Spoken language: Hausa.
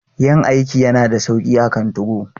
Yin aiki yana da sauƙi akan 2go.